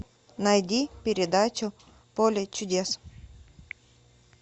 найди передачу поле чудес